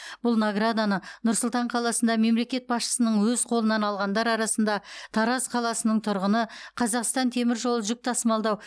бұл награданы нұр сұлтан қаласында мемлекет басшысының өз қолынан алғандар арасында тараз қаласының тұрғыны қазақстан темір жолы жүк тасымалдау